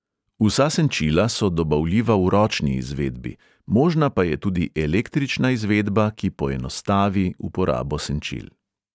Vsa senčila so dobavljiva v ročni izvedbi, možna pa je tudi električna izvedba, ki poenostavi uporabo senčil.